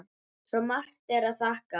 Svo margt er að þakka.